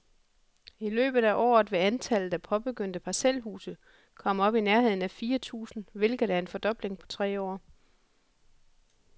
I løbet af året vil antallet af påbegyndte parcelhuse komme op i nærheden af fire tusind, hvilket er en fordobling på tre år.